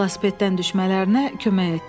Velosipeddən düşmələrinə kömək etdi.